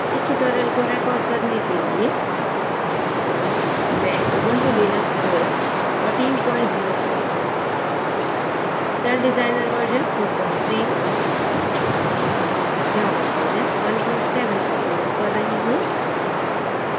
इस tutorial को record करने के लिये मैं ubuntu linux os 1404 celldesigner version 43 java version 17 का प्रयोग कर रही हूँ